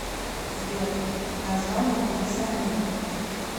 сбер название пиросомиды